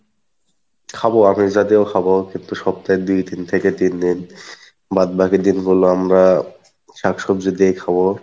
খাবো আমিষ জাতীয়ও খাবো কিন্তু সপ্তাহে দুই দিন থেকে তিন দিন বাদ বাকি দিন গুলো আমরা শাক সবজি দিয়ে খাবো,